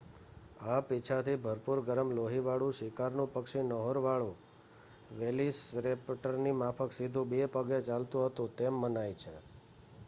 આ પીંછાથી ભરપૂર ગરમ લોહીવાળું શિકારનું પક્ષી નહોરવાળા વેલોસિરૅપ્ટરની માફક સીધું બે પગે ચાલતું હતું તેમ મનાય છે